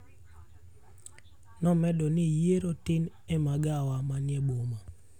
Nomedo ni yiero tin e magawa manie boma.